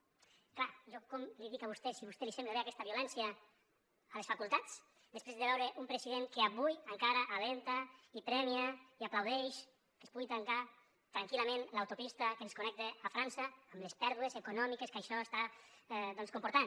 és clar jo com li dic a vostè si a vostè li sembla bé aquesta violència a les facultats després de veure un president que avui encara anima i premia i aplaudeix que es pugui tancar tranquil·lament l’autopista que ens connecta a frança amb les pèrdues econòmiques que això està comportant